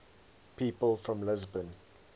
people from lisbon